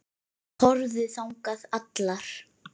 Þær horfðu þangað allar.